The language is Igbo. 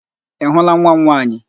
Ị hụla nwa m nwaanyị?